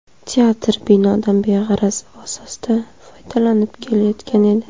Teatr binodan beg‘araz asosda foydalanib kelayotgan edi.